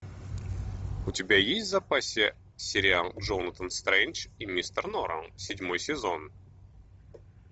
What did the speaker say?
у тебя есть в запасе сериал джонатан стрендж и мистер норрелл седьмой сезон